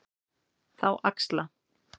Þá axla